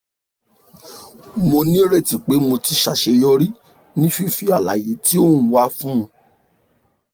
mo nireti pe mo ti ṣaṣeyọri ni fifi alaye ti o n wa fun